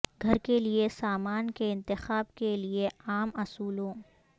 گھر کے لئے سامان کے انتخاب کے لئے عام اصولوں